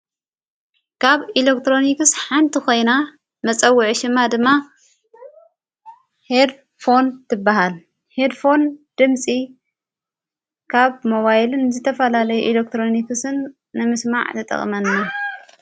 ካብ ኢለክትሮኒክስ ሓንቲ ኾይና መጸውዐ ሹማ ድማ ሄድፎን ትበሃል። ሄድፎን ድምፂ ካብ ሞባይልን ዝተፈላለይ ኤለክትሮኒክስን ንምስማዕ ተጠቕመና።